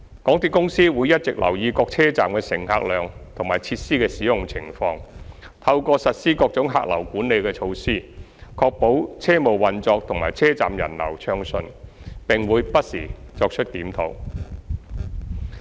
港鐵公司會一直留意各車站的乘客量和設施的使用情況，透過實施各種客流管理措施，確保車務運作及車站人流暢順，並會不時作出檢討。